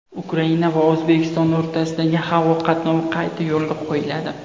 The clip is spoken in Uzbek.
Ukraina va O‘zbekiston o‘rtasidagi havo qatnovi qayta yo‘lga qo‘yiladi.